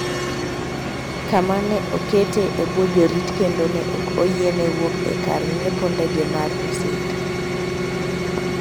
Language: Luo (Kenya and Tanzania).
kama ne okete e bwo jorit kendo ne ok oyiene wuok e kar ng’iepo ndege mar Rusinga.